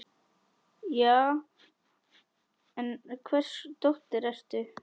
Já, en hvers dóttir ertu?